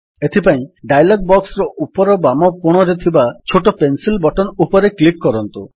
ଏଥିପାଇଁ ଡାୟଲଗ୍ ବକ୍ସର ଉପର ବାମ କୋଣରେ ଥିବା ଛୋଟ ପେନସିଲ୍ ବଟନ୍ ଉପରେ କ୍ଲିକ୍ କରନ୍ତୁ